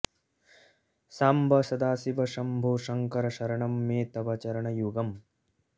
साम्ब सदाशिव शम्भो शङ्कर शरणं मे तव चरणयुगम्